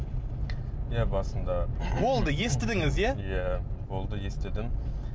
иә басында болды естідіңіз иә иә болды естідім